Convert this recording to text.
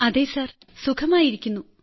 അതെ സർ സുഖമായിരിക്കുന്നു